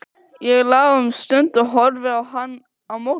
Ég lá um stund og horfði á hann á móti.